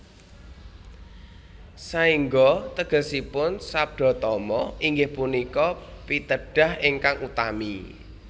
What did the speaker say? Saengga tegesipun Sabdatama inggih punika pitedah ingkang utami